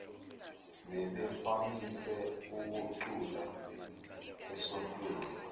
bebevamise ukucula esontweni